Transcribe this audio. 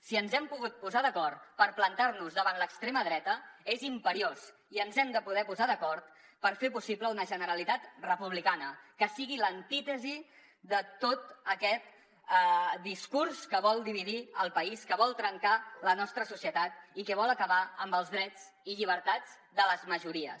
si ens hem pogut posar d’acord per plantar nos davant l’extrema dreta és imperiós i ens hem de poder posar d’acord per fer possible una generalitat republicana que sigui l’antítesi de tot aquest discurs que vol dividir el país que vol trencar la nostra societat i que vol acabar amb els drets i llibertats de les majories